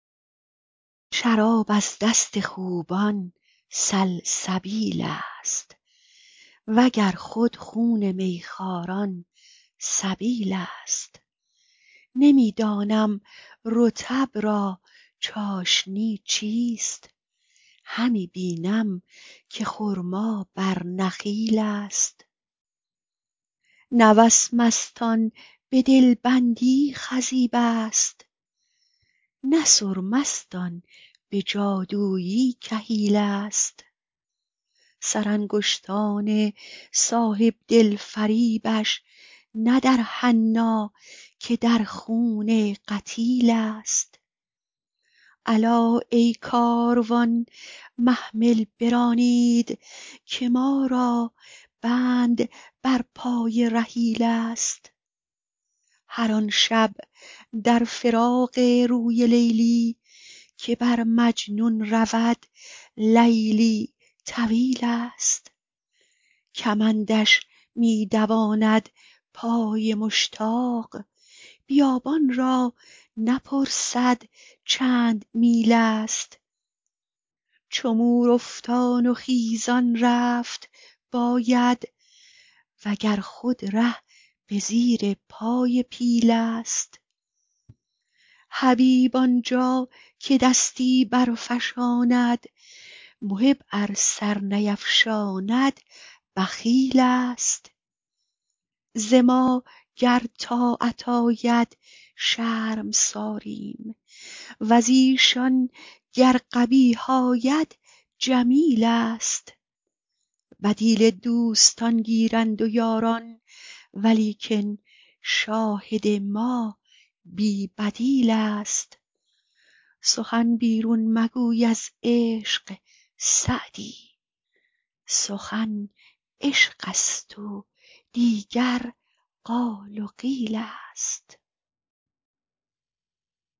شراب از دست خوبان سلسبیل ست و گر خود خون می خواران سبیل ست نمی دانم رطب را چاشنی چیست همی بینم که خرما بر نخیل ست نه وسمست آن به دل بندی خضیب ست نه سرمست آن به جادویی کحیل ست سرانگشتان صاحب دل فریبش نه در حنا که در خون قتیل ست الا ای کاروان محمل برانید که ما را بند بر پای رحیل ست هر آن شب در فراق روی لیلی که بر مجنون رود لیلی طویل ست کمندش می دواند پای مشتاق بیابان را نپرسد چند میل ست چو مور افتان و خیزان رفت باید و گر خود ره به زیر پای پیل ست حبیب آن جا که دستی برفشاند محب ار سر نیفشاند بخیل ست ز ما گر طاعت آید شرمساریم و ز ایشان گر قبیح آید جمیل ست بدیل دوستان گیرند و یاران ولیکن شاهد ما بی بدیل ست سخن بیرون مگوی از عشق سعدی سخن عشق ست و دیگر قال و قیل ست